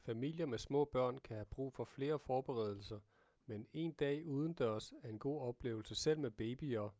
familier med små børn kan have brug for flere forberedelser men en dag udendørs er en god oplevelse selv med babyer